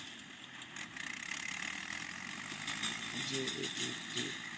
যে এটি একটি